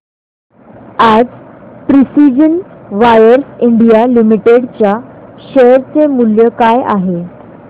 आज precision wires India limited च्या share चे मूल्य काय आहे